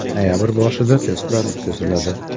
Noyabr boshida testlar o‘tkaziladi.